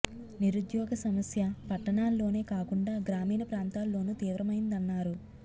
నిరుద్యోగ సమస్య పట్టణా ల్లోనే కాకుండా గ్రామీణ ప్రాంతాల్లోనూ తీవ్రమైందన్నారు